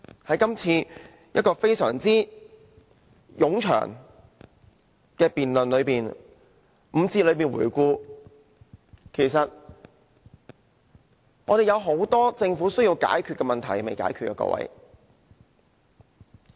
在今次這個非常冗長的辯論中，回顧5個環節的內容，我們看到有很多問題是政府應解決而未有解決的。